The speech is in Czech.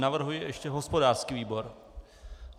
Navrhuji ještě hospodářský výbor.